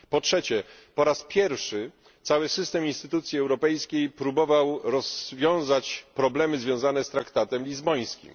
Po trzecie, po raz pierwszy cały system instytucji europejskich próbował rozwiązać problemy związane z traktatem lizbońskim.